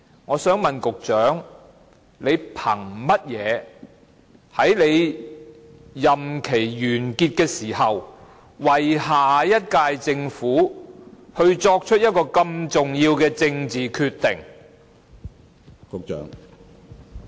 我想問局長憑甚麼在他任期完結前，為下一屆政府作出這麼重要的政治決定？